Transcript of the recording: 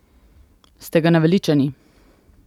Ste ga naveličani?